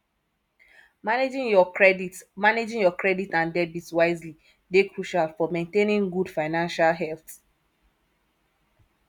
managing your credit managing your credit and debit wisely dey crucial for maintainng good financial health